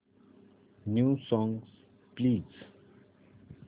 new songs please